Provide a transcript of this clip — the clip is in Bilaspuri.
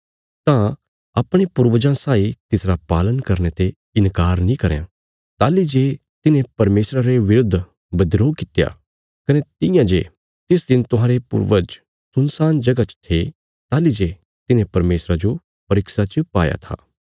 तां अपणे पूर्वजां साई तिसरा पालन करने ते इन्कार नीं करयां ताहली जे तिन्हें परमेशरा रे बिरुद्ध बिद्रोह कित्या कने तियां जे तिस दिन तुहांरे पूर्वज सुनसान जगह च थे ताहली जे तिन्हें परमेशरा जो परीक्षा च पाया था